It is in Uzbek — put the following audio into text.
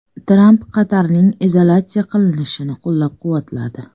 Tramp Qatarning izolyatsiya qilinishini qo‘llab-quvvatladi.